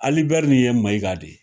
Ali bɛri nin ye Mayiga de ye.